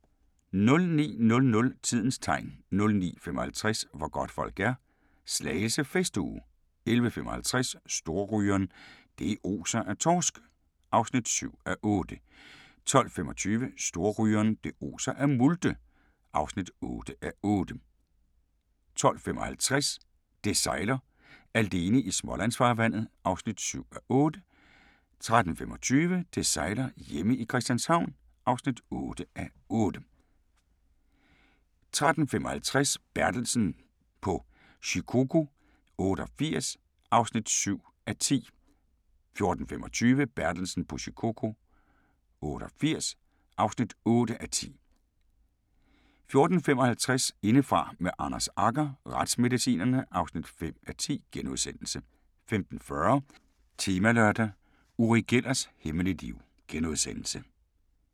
09:00: Tidens Tegn 09:55: Hvor godtfolk er – Slagelse festuge 11:55: Storrygeren – det oser af torsk (7:8) 12:25: Storrygeren – det oser af multe (8:8) 12:55: Det sejler - alene i Smålandsfarvandet (7:8) 13:25: Det sejler - hjemme i Christianshavn (8:8) 13:55: Bertelsen på Shikoku 88 (7:10) 14:25: Bertelsen på Shikoku 88 (8:10) 14:55: Indefra med Anders Agger - retsmedicinerne (5:10)* 15:40: Temalørdag: Uri Gellers hemmelige liv *